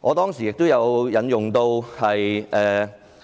我當時也引用了